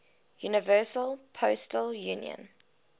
universal postal union